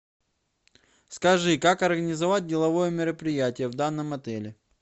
скажи как организовать деловое мероприятие в данном отеле